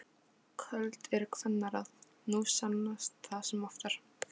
Köld eru kvennaráð, nú sannast það sem oftar.